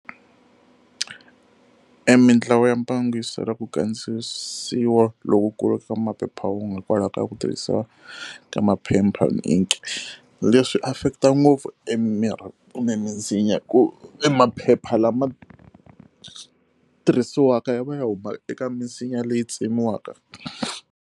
E mintlawa ya mbango yi sola ku kandziyisiwa lokukulu ka maphephahungu hikwalaho ka ku tirhisiwa ka maphepha ni ink-i. Leswi swi affect-a ngopfu e mimirhi kumbe misinya ku e maphepha lama tirhisiwaka hi va ya humaka eka misinya leyi tsemiwaka.